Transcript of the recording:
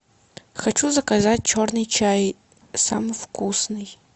хочу заказать черный чай самый вкусный